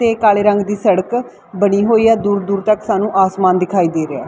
ਤੇ ਕਾਲੇ ਰੰਗ ਦੀ ਸੜਕ ਬਣੀ ਹੋਈ ਆ ਦੂਰ ਦੂਰ ਤੱਕ ਸਾਨੂੰ ਆਸਮਾਨ ਦਿਖਾਈ ਦੇ ਰਿਹਾ।